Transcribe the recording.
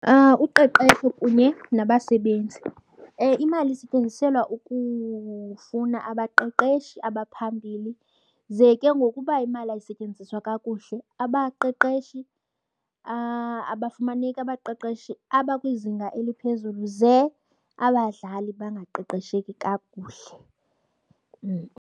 Uqeqesho kunye nabasebenzi. Imali isetyenziselwa ukufuna abaqeqeshi abaphambili ze ke ngoku uba imali ayisetyenziswa kakuhle, abaqeqeshi abafumaneki abaqeqeshi abakwizinga eliphezulu ze abadlali bangaqeqesheki kakuhle.